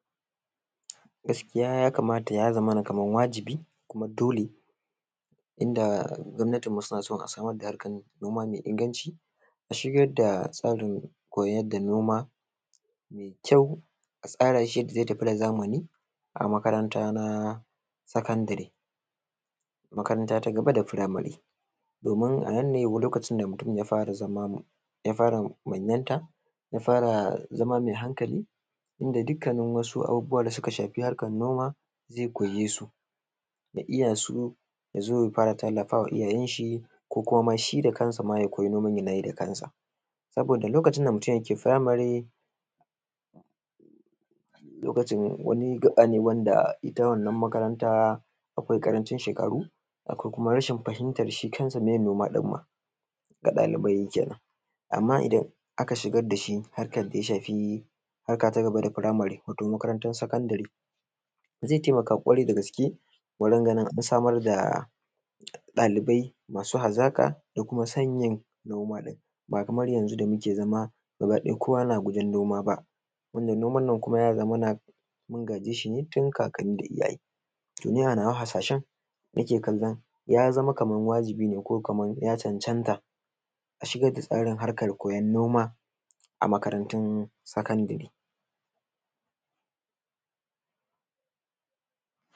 gaskiya ya kamata ya zamana kaman wajibi dole inda gwamnatinmu suna so a samar da hankalin noma mai inganci na shigar da tsarin koyar da noma da kyau a tsara shi yadda ya tafi da zamani a makaranta na sakandiri, makaranta ta gaba da firamari domin a nan ne mutum ya fara zama ya fara manyanta ya fara zama mai hankali inda dukkan wasu al’amura da suka shafi harkar noma ze koye su ya iya su, ya zo ya fara tallafa wa iyayen shi ko kuma shi da kansa ya koyi noman yanayi da kansa. saboda lokacin da mutum yake firamare, lokaci ne wani gaɓa ne wanda ita wannan makaranta akwai ƙarancin shekaru, akwai rashan fahimtar shi kansa meye noma ɗin ma ga ɗalibai kenan. amma idan aka shiga da shi harkan da ya shafi harka ta gaba da firamari, wato makarantan sakandiri, ze taimaka lallai ƙwarai da gaske wajen ganin ɗalibai masu hazaƙa da kuma san yin noma in ba fa kaman yanzu da muke zama, gabaɗaya kowa na gujen noma ba wannan noman ya zamana mun gaje shi ne tun kakkanni. Ni a nawa harshashen nake kallon ya zama kaman wajibi ne ko kaman ya cancanta a shigar da tsarin harkar koyan noma a makarantun sakandire.